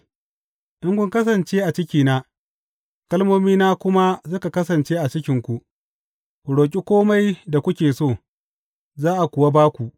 In kun kasance a cikina kalmomina kuma suka kasance a cikinku, ku roƙi kome da kuke so, za a kuwa ba ku.